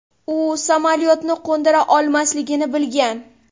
U samolyotni qo‘ndira olmasligini bilgan.